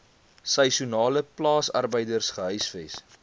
seisoenale plaasarbeiders gehuisves